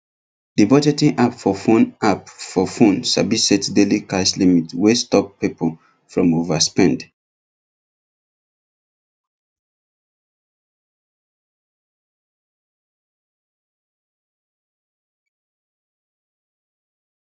the budgeting app for phone app for phone sabi set daily cash limit wey stop people from overspend